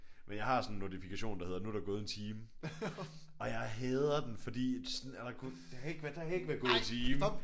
Men jeg har sådan en notifikation der hedder nu er der gået en time. Og jeg hader den fordi sådan er der gået der kan ikke være der kan ikke være gået en time